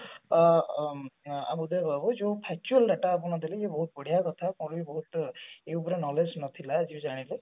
ଅ ଅ ଉଦୟ ବାବୁ ଯୋଉ factual data ଆପଣ ଦେଲେ ଇଏ ବହୁତ ବଢିଆ କଥା ମୁଁ ବି ବହୁତ ଏଇ ଉପରେ knowledge ନଥିଲା ଆଜି ଜାଣିଲି